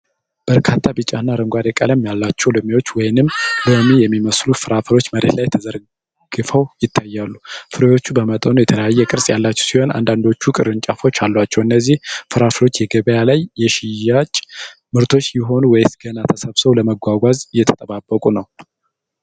በርካታ ቢጫና አረንጓዴ ቀለም ያላቸው ሎሚዎች ወይንም ሎሚ የሚመስሉ ፍራፍሬዎች መሬት ላይ ተዘርግፈው ይታያሉ። ፍራፍሬዎቹ በመጠኑ የተለያየ ቅርፅ ያላቸው ሲሆን፣ አንዳንዶቹ ቅርንጫፎች አሏቸው። እነዚህ ፍራፍሬዎች የገበያ ላይ የሽያጭ ምርቶች ይሆኑ ወይስ ገና ተሰብስበው ለመጓጓዝ እየተጠባበቁ ነው?